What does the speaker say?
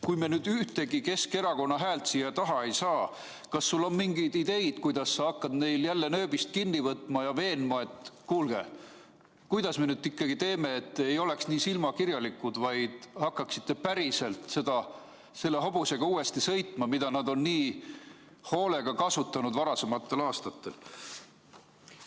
Kui me nüüd ühtegi Keskerakonna häält siia taha ei saa, kas sul on siis mingeid ideid, kuidas sa hakkad neil jälle nööbist kinni võtma ja veenma, et kuulge, kuidas me nüüd ikkagi teeme, et te ei oleks nii silmakirjalikud, vaid hakkaksite päriselt selle hobusega uuesti sõitma, mida te nii hoolega kasutasite varasematel aastatel?